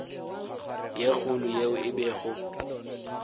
ye kgolo yeo e bego